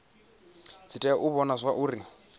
dzi tea u vhona zwauri